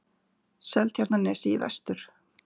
Seltjarnarnesi í vestur.